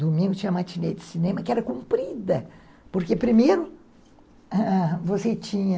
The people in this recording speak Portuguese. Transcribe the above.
Domingo tinha a matinê de cinema, que era comprida, porque, primeiro, ãh você tinha...